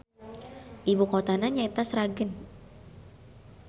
Ibukotana nyaeta Sragen.